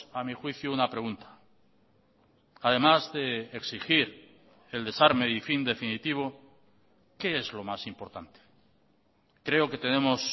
a mi juicio una pregunta además de exigir el desarme y fin definitivo qué es lo más importante creo que tenemos